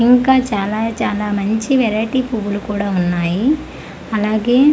ఇంకా చాలా చాలా మంచి వెరైటీ పువ్వులు కూడా ఉన్నాయి అలాగే--